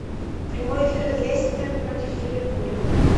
прямой эфир лестер против ливерпуля